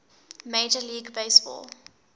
major league baseball